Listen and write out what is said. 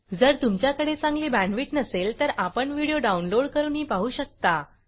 जर तुमच्याकडे चांगली बॅंडविड्त नसेल तर आपण व्हिडिओ डाउनलोड करूनही पाहू शकता